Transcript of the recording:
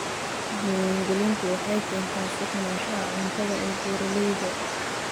Diiwaangelintu waxay keentaa sugnaanshaha cuntada ee beeralayda.